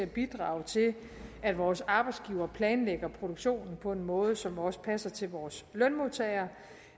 bidrager til at vores arbejdsgivere planlægger produktionen på en måde som også passer til vores lønmodtagere